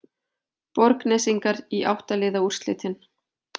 Borgnesingar í átta liða úrslitin